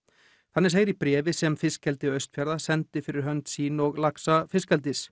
þannig segir í bréfi sem fiskeldi Austfjarða sendi fyrir hönd sín og laxa fiskeldis